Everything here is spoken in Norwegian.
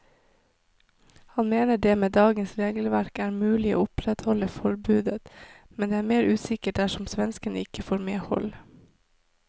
Han mener det med dagens regelverk er mulig å opprettholde forbudet, men er mer usikker dersom svenskene ikke får medhold.